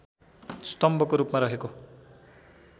स्तम्भको रूपमा रहेको